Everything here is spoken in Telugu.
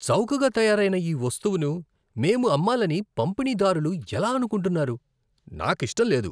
చౌకగా తయారైన ఈ వస్తువును మేము అమ్మాలని పంపిణీదారులు ఎలా అనుకుంటున్నారు? నాకు ఇష్టం లేదు.